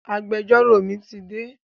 Agbẹjọ́rò mi ti dé